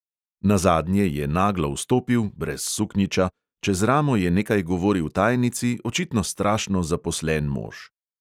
Nazadnje je naglo vstopil, brez suknjiča, čez ramo je nekaj govoril tajnici, očitno strašno zaposlen mož.